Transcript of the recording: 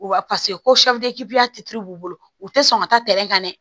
Wa paseke ko b'u bolo u tɛ sɔn ka taa tɛrɛ kan dɛ